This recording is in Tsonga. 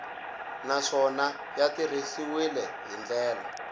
naswona ya tirhisiwile hi ndlela